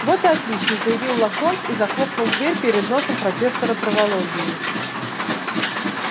вот и отлично заявил локонс и захлопнул дверь перед носом профессора травологии